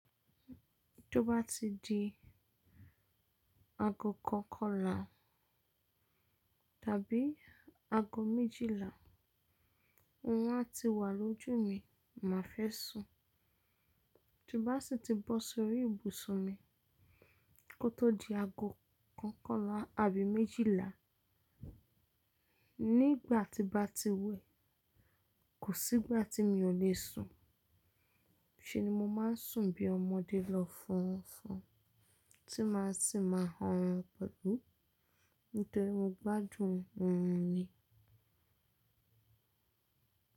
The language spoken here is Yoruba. Tí ó bá ti di aago kọ̀kọ́ là, tàbí aago méjìlà, wọn á ti wà lójú mi má fẹ́ sùn. Tí bá sì ti bọ́ sórí ibùsùn mi, kó tó di aago kọ̀kọ́ là àbí méjìlà, nígbà tí bá ti wẹ̀, kò sí ìgbà tí mi ò le sùn. Ṣé ni mo máa ń sùn bí ọmọdé lọ fún wọn fún, tí má sì máa hán wọn pẹ̀lú. Nítorí mo gbádùn wọ́n ni.